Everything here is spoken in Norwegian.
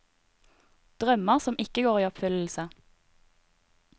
Drømmer som ikke går i oppfyllelse.